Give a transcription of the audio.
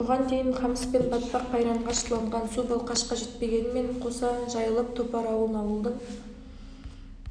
бұған дейін қамыс пен батпақ қайранға шыланған су балқашқа жетпегенімен қоса жайылып топар ауылын ауылдың